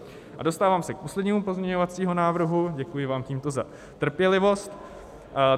A dostávám se k poslednímu pozměňovacímu návrhu, děkuji vám tímto za trpělivost.